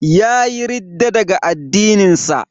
Yayi ridda daga addinin sa.